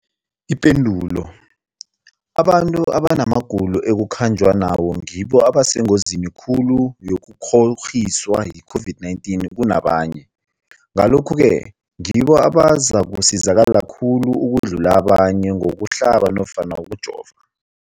Ipendulo, abantu abanamagulo ekukhanjwa nawo ngibo abasengozini khulu yokukghokghiswa yi-COVID-19 kunabanye, Ngalokhu-ke ngibo abazakusizakala khulu ukudlula abanye ngokuhlaba nofana ngokujova.